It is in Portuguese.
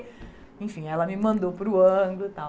Enfim, ela me mandou para o Anglo e tal.